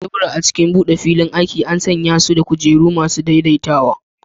Tebura a cikin buɗe filin aiki an sanye su da kujeru masu daidaitawa.